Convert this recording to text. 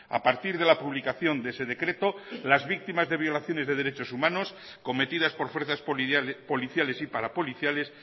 a partir de la publicación de ese decreto las víctimas de violaciones de derechos humanos cometidas por fuerzas policiales y parapoliciales